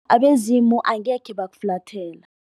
Abezimu angekhe bakufulathela.